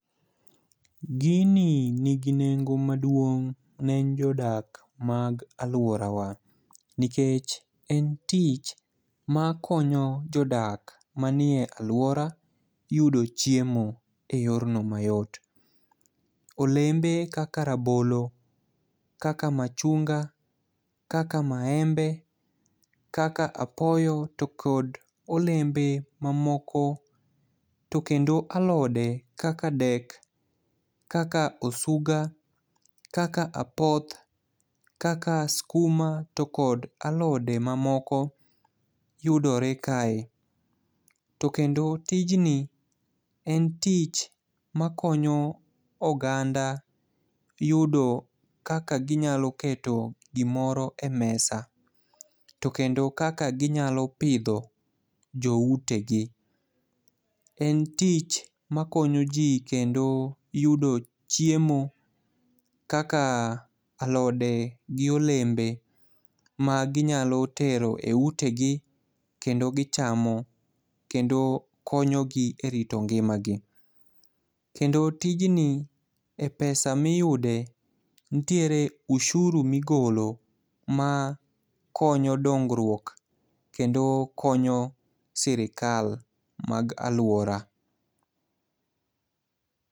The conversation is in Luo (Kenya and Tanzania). Gini nigi nengo maduong' ne jodak ma aluorawa nikech en tich makonyo jodak ma eluora yudo chiemo e yor no mayot. Olembe kaka rabolo, kaka machunga, kaka maembe , kaka apoyo to kod olembe mamoko to kendo alode kaka dek kaka osuga, kaka apoth, kaka skuma to kod alode mamoko yudore kae. To kendo tijni en tich makonyo oganda yudo kaka ginyalo keto gimoro e mesa .To kendo kaka ginyalo pidho joute gi, en tich makonyo jii kendo yudo chiemo kaka alode gi olembe ma ginyalo teroe ute gi kendo gichamo kendo konyogi e rito ngima gi. Kendo tijni e pesa miyude nitiere usuru migolo makonyo dongruok kendo sirikal mag aluora.